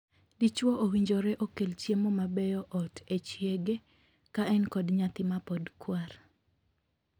Dichwo owinjore okel chiemo mabeyo ot e chiege ka en kod nyathi mapod kwar.